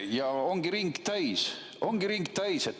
Ja ongi ring täis.